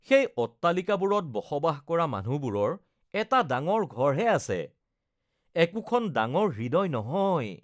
সেই অট্টালিকাবোৰত বসবাস কৰা মানুহবোৰৰ এটা ডাঙৰ ঘৰহে আছে, একোখন ডাঙৰ হৃদয় নহয়।